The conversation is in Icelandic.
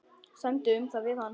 Semdu um það við hann.